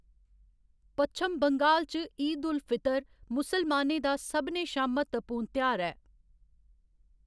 पच्छम बंगाल च ईद उल फितर मुसलमानें दा सभनें शा म्हत्तवपूर्ण तेहार ऐ।